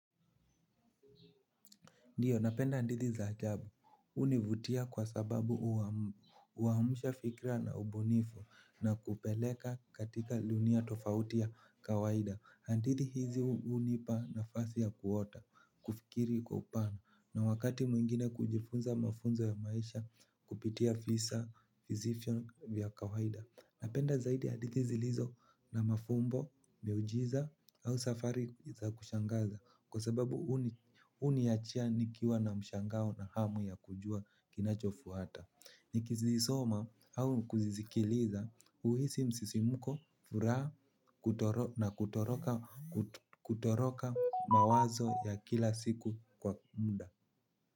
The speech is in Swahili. Ndio, napenda hadithi za ajabu, hunivutia kwa sababu uhamisha fikira na ubunifu na kupeleka katika dunia tofauti ya kawaida. Hadithi hizi hunipa nafasi ya kuota, kufikiri kwa upana, na wakati mwingine kujifunza mafunzo ya maisha kupitia fisa visivyo vya kawaida. Napenda zaidi hadithi zilizo na mafumbo, miujiza au safari za kushangaza. Kwa sababu huniacha nikiwa na mshangao na hamu ya kujua kinachofuata. Nikizisoma au kuzisikiliza, huhisi msisimko, furaha na kutoroka mawazo ya kila siku kwa muda.